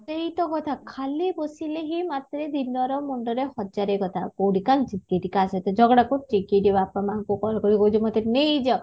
ସେଇତ କଥା ଖାଲି ବସିଲେ ହିଁ ମତେ ଦିନରେ ମୁଣ୍ଡରେ ହଜାରେ କଥା କୋଉଠି କାନ୍ଦିଛି କୋଉଠି କା ସହିତ ଝଗଡା କରୁଛି କୋଉଠି ବାପା ମାଙ୍କ ପାଖରେ କହୁଛି ମେତ ନେଇ ଯାଅ